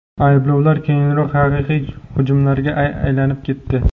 Ayblovlar keyinroq haqiqiy hujumlarga aylanib ketdi.